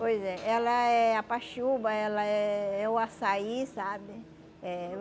Pois é, ela é a paxiúba, ela é o açaí, sabe? Eh